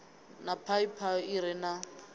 na phaiphi i re na